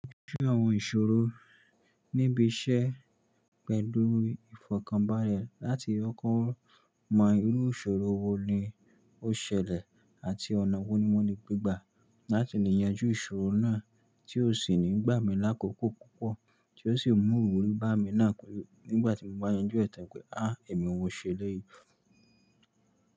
Ṣẹ́ àwọn ìṣòro níbi iṣẹ́ pẹ̀lú ìfọ̀kànbalẹ̀ láti kọkọ́ mọ irú ìṣòro wo ni ó ṣẹlẹ̀ àti ọ̀nà wo ni wọ́n ní gbígba láti lè yanjú ìṣòro náà tí ó sì ní gbà mí lákòókò púpọ̀ tí ó sì mú òwúrú bá mi náà nígbà tí mo máa yanjú ẹ̀tàn pé há èmi òun ṣẹlẹ̀ yìí.